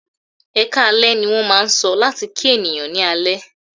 "Ẹkáalẹ́" ní wọ́n máà ń sọ láti kí ènìyàn ní alẹ́.